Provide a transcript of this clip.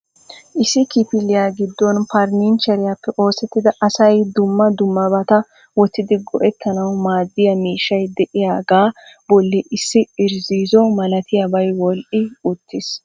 issi kifiliya giddon farannicheriyappe oosettida asay dumma dummabata wottidi go''ettanaw maaddiya miishshay de'iyaaga bolli issi irzziizzo malatiyaabay wodhdhi uttiis .